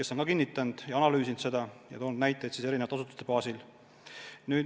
Seda on analüüsitud ja kinnitatud, tuues näiteid eri asutustest.